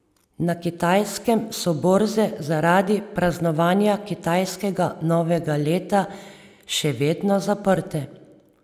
Na Kitajskem so borze zaradi praznovanja kitajskega novega leta še vedno zaprte.